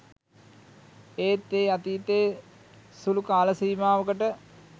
ඒත් ඒ අතීතයේ සුළු කාලසීමාවකට